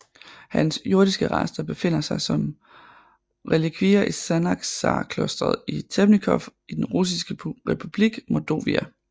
Hans jordiske rester befinder som som relikvier i Sanaksarklosteret i Temnikov i den russiske republik Mordovija